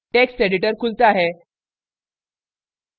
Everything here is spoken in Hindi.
text editor खुलता है